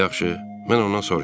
Yaxşı, mən ondan soruşaram.